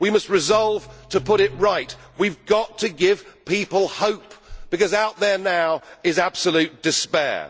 We must resolve to put it right. We have got to give people hope because out there now is absolute despair.